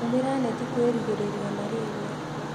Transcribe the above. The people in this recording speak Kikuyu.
Tũmĩra neti kwĩgirĩrĩria malĩria.